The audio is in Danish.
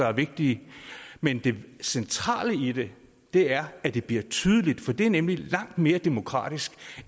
er vigtige men det centrale i det er at det bliver tydeligt for det er nemlig langt mere demokratisk